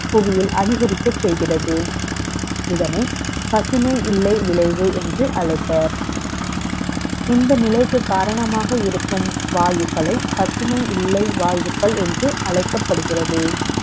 புவியில் அதிகரிக்க செ ய்கிறது. இதனை, பசுமை இல்லை விளை வு என்று அழை ப்பர் இந்த நிலை க்கு காரணமாக இருக்கும் வாயுக்களை, பசுவும் இல்லை வாயுக்கள் என்றுஅழை க்கப்படுகிறது